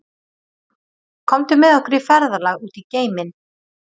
Komdu með okkur í ferðalag út í geiminn.